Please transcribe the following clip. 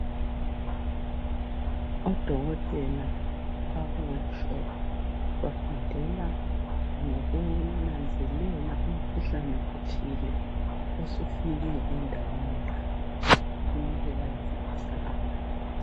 Odokotela bakuworkshop bafundela ngokunanzelela umkhuhlane othile osufike endaweni yabo kumele bayefundisa abanye